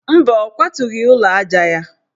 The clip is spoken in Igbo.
Mba, ọ kwatughi ụlọaja ya.